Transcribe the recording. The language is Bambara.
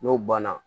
N'o banna